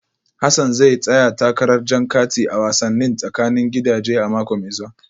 Hassan zai tsaya takarar jan kati a wasannin tsakanin gidaje a mako mai zuwa